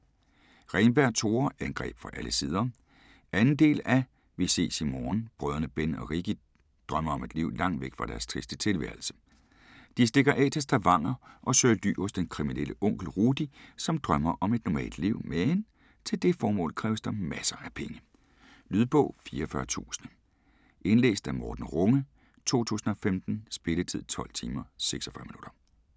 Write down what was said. Renberg, Tore: Angreb fra alle sider 2. del af Vi ses i morgen. Brødrene Ben og Rikki drømmer om et liv lagt væk fra deres triste tilværelse. De stikker af til Stavanger og søger ly hos den kriminelle onkel Rudi som drømmer om et normalt liv, men til det formål kræves der masser af penge. Lydbog 44000 Indlæst af Morten Runge, 2015. Spilletid: 12 timer, 46 minutter.